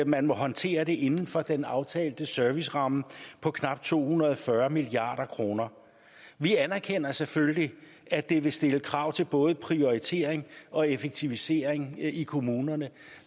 man må håndtere det inden for den aftalte serviceramme på knap to hundrede og fyrre milliard kroner vi anerkender selvfølgelig at det vil stille krav til både prioritering og effektivisering i kommunerne